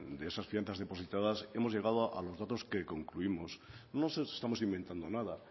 de esas fianzas depositadas hemos llegado a los datos que concluimos no nos estamos inventando nada